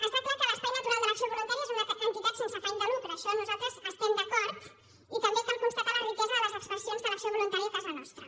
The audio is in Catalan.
està clar que l’espai natural de l’acció voluntària és una entitat sense afany de lucre amb això nosaltres hi estem d’acord i també cal constatar la riquesa de les expressions de l’acció voluntària a casa nostra